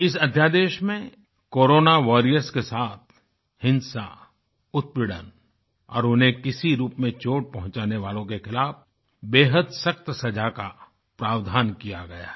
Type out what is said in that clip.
इस अध्यादेश में कोरोना वॉरियर्स के साथ हिंसा उत्पीड़न और उन्हें किसी रूप में चोट पहुचाने वालों के खिलाफ़ बेहद सख्त़ सज़ा का प्रावधान किया गया है